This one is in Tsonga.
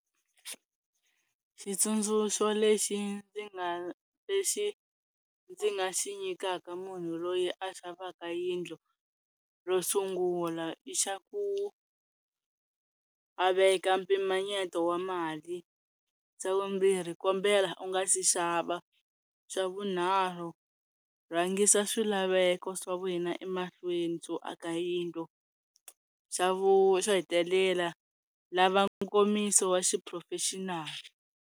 Xitsundzuxo lexi ndzi nga lexi ndzi nga xi nyikaka munhu loyi a xavaka yindlu ro sungula i xa ku a veka mpimanyeto wa mali, xa vumbirhi kombela u nga si xava, swa vunharhu rhangisa swilaveko swa wena emahlweni swo aka yindlu, xa vu xo hetelela lava nkomiso wa xi professional.